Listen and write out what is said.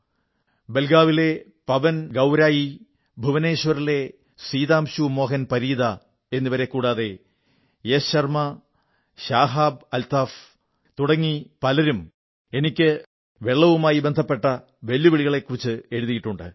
ബലഗാവിയിലെ പവൻ ഗൌരായി ഭുവനേശ്വറിലെ സിതാംശു മോഹൻ പരീദാ എന്നിവരെ കൂടാതെ യശ് ശർമ്മാ ഷഹബ് അൽത്താഫ് എന്നു മറ്റു പലരും എനിക്ക് വെള്ളവുമായി ബന്ധപ്പെട്ട വെല്ലുവിളിയെക്കുറിച്ച് എഴുതിയിട്ടുണ്ട്